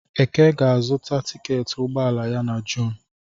Eke ga-azuta tiketị ụgbọelu ya na Jun